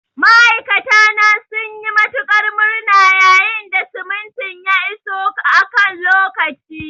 Ma'aikata na sun yi matuƙar murna yayin da simintin ya iso a kan lokaci.